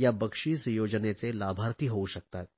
या बक्षिस योजनेचे लाभार्थी होऊ शकतात